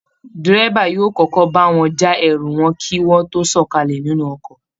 Dẹ́rẹ́bà yóò kọ́kọ́ bá wọn já ẹrù wọn kí wọ́n tó sọ̀kalẹ̀ nìnù ọkọ̀